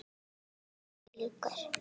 Alltaf sjálfum sér líkur.